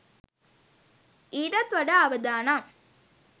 ඊටත් වඩා අවදානම්.